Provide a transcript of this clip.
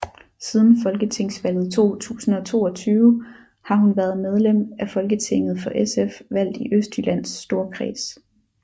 Siden Folketingsvalget 2022 har hun været medlem af Folketinget for SF valgt i Østjyllands Storkreds